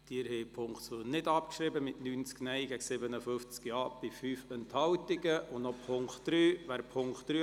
Sie haben mit 57 Ja- zu 90 Nein-Stimmen bei 5 Enthaltungen die Abschreibung der Ziffer 2 abgelehnt.